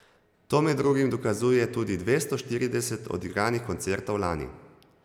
To med drugim dokazuje tudi dvesto štirideset odigranih koncertov lani.